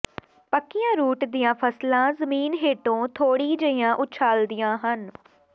ਪੱਕੀਆਂ ਰੂਟ ਦੀਆਂ ਫਸਲਾਂ ਜ਼ਮੀਨ ਹੇਠੋਂ ਥੋੜ੍ਹੀ ਜਿਹੀਆਂ ਉਛਾਲਦੀਆਂ ਹਨ